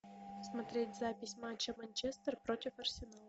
смотреть запись матча манчестер против арсенала